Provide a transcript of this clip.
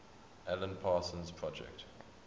alan parsons project